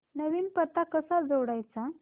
नवीन पत्ता कसा जोडायचा